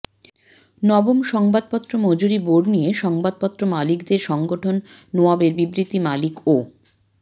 নবম সংবাদপত্র মজুরি বোর্ড নিয়ে সংবাদপত্র মালিকদের সংগঠন নোয়াবের বিবৃতি মালিক ও